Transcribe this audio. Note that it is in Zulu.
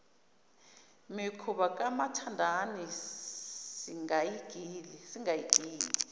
mikhuba kamathandana singayigili